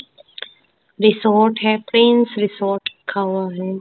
Resort है Pens resort लिखा हुआ हैं।